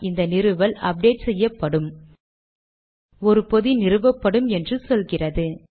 இந்த நிறுவல் அப்டேட் செய்யப்படும் ஒரு பொதி நிறுவப்படும் என்று சொல்கிறது